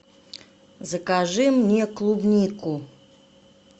закажи мне клубнику